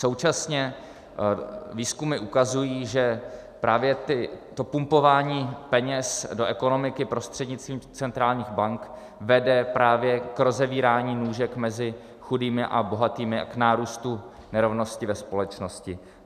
Současně výzkumy ukazují, že právě to pumpování peněz do ekonomiky prostřednictvím centrálních bank vede právě k rozevírání nůžek mezi chudými a bohatými a k nárůstu nerovnosti ve společnosti.